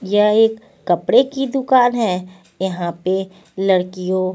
यह एक कपड़े की दुकान है यहां पे लड़कियों--